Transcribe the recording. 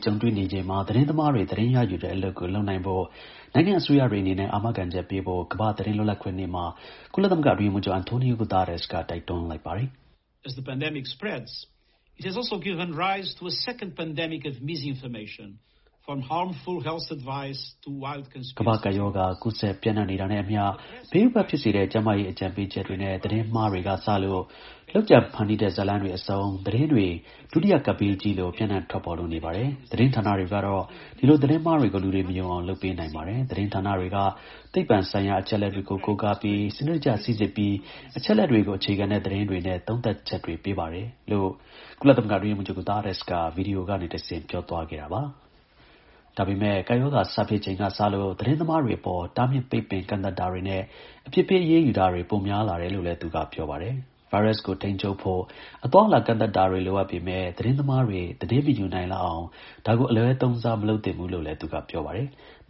ကြုံတွေ့နေချိန်မှာ သတင်းသမားတွေ သတင်းရယူတဲ့အလုပ်ကို လုပ်နိုင်ဖို့ နိုင်ငံ့အစိုးရတွေအနေနဲ့ အာမခံချက်ပေးဖို့ ကမ္ဘာ့သတင်းလွတ်လပ်ခွင့်နေ့မှာ ကုလသမဂ္ဂ အတွင်းရေးမှူးချုပ် Antonio Guterres က တိုက်တွန်းလိုက်ပါတယ်။ “ကမ္ဘာ့ကပ်ရောဂါ ကူးစက်ပျံ့နှံ့နေတာနဲ့အမျှ ဘေးဥပဒ်ဖြစ်စေတဲ့ ကျန်းမာရေး အကြံပေးချက်တွေနဲ့ သတင်းမှားတွေကစလို့ လုပ်ကြံဖန်တီးတဲ့ ဇာတ်လမ်းတွေအဆုံး သတင်းတွေ ဒုတိယကပ်ဘေးကြီးလို ပျံ့နှံ့ထွက်ပေါ်လို့နေပါတယ်။ သတင်းဌာနတွေကတော့ ဒီလို သတင်းမှားတွေ ကို လူတွေမယုံအောင် လုပ်ပေးနိုင်ပါတယ်။ သတင်းဌာနတွေက သိပ္ပံဆိုင်ရာ အချက်အလက်တွေကို ကိုးကားပြီး စနစ်တကျ စိစစ်ပြီး အချက်အလက်တွေကို အခြေခံတဲ့ သတင်းတွေနဲ့ သုံးသပ်ချက်တွေ ပေးပါတယ်” လို့ ကုလအတွင်းရေးမှူးချုပ် Guterres က ဗွီဒီယိုကနေတဆင့် ပြောသွားခဲ့တာပါ။ ဒါပေမယ့် ကပ်ရောဂါ စဖြစ်ချိန်ကစလို့ သတင်းသမားတွေအပေါ် တားမြစ်ပိတ်ပင် ကန့်သတ်တာတွေနဲ့ အပြစ်ပေး အရေးယူတာတွေ ပိုများလာတယ်လို့လည်း သူက ပြောပါတယ်။ ဗိုင်းရပ်စ်ကို ထိန်းချုပ်ဖို့ အသွားအလာ ကန့်သတ်တာတွေ လိုအပ်ပေမယ့် သတင်းသမားတွေ သတင်းမယူနိုင်လောက်အောင် ဒါကို အလွဲသုံးစား မလုပ်သင့်ဘူးလို့လည်း သူက ပြောပါတယ်။